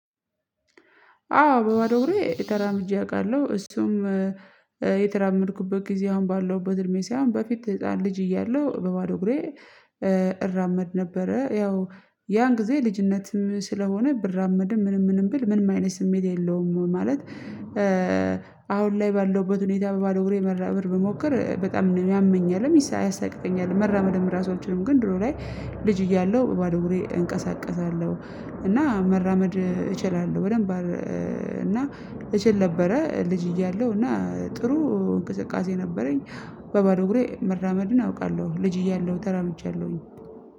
አዎ በባዶ እግሬ ተራምጄ እያውቃለሁ እሱም የተራመድኩበት ጊዜ አሁን ባለሁበት እድሜ ሳይሆን በፊት ህፃን ልጅ እያለሁ በባዶ እግሬ እራመድ ነበረ ያው ያን ጊዜ ልጅነትም ስለሆነ ብራመድም ምንም ምንም ብል ምንም አይነት ስሜት የለውም። ማለት አሁን ላይ ባለሁበት ሁኔታ በባዶ አግሬ መራመድ ብሞክር በጣም ያመኛልም ይስ ያሳቅቀኛልም መራመድም ራሱ አልችልም። ግን ድሮ ላይ ልጅ እያለሁ በባዶ እግሬ እንቀሳቀሳለሁ እና መራመድ እችላለሁ በደንብ። እና እችል ነበረ ልጅ እያለሁ እና ጥሩ እንቅስቃሴ ነበረኝ በባዶ እግሬ መራመድን አውቃለሁ። ልጅ እያለሁ ተራምጃለሁኝ